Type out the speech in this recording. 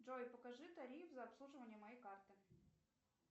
джой покажи тариф за обслуживание моей карты